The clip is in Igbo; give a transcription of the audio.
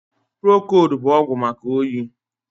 Prokold bụ ọgwụ maka oyi